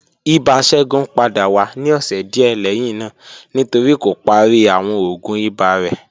Ibà Segun pada wa ni ọsẹ diẹ lẹhinna nitori ko pari awọn oògùn iba rẹ